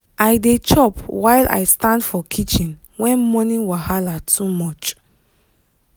i dey chop while i stand for kitchen when morning wahala too much.